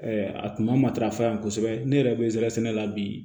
a kun matarafa yan kosɛbɛ ne yɛrɛ bɛ zɛrɛn sɛnɛ la bi